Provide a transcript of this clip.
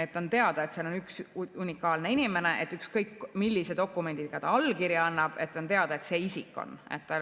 et on teada, et see on üks unikaalne inimene, ükskõik millise dokumendiga ta allkirja annab, aga on teada, et ta on see isik.